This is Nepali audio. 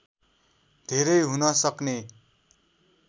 धेरै हुन सक्ने